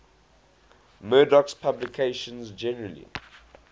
murdoch's publications generally